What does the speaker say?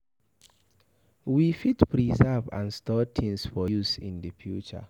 we fit preserve and Store things for use in di future